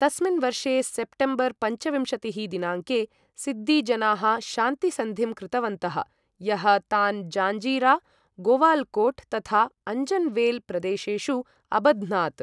तस्मिन् वर्षे सेप्टेम्बर् पञ्चविंशतिः दिनाङ्के, सिद्दी जनाः शान्तिसन्धिं कृतवन्तः, यः तान् जाञ्जीरा, गोवाल्कोट् तथा अञ्जन्वेल् प्रदेशेषु अबध्नात्।